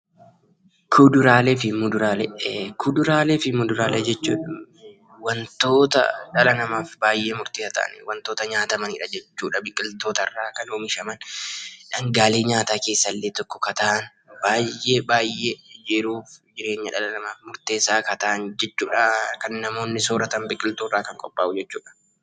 Kuduraalee fi muduraalee jechuun wantoota dhala namaaf baay'ee murteessaa ta'an, wantoota nyaatamanidha jechuudha. Biqiltootarraa kan oomishaman, dhangaalee nyaataa keessaa illee tokko ka ta'an, baay'ee baay'ee yeroof jireenya dhala namaaf murteessaa kan ta'an jechuudha. Kan namoonni sooratan biqiltuurraa kan qophaa'u jechuudha.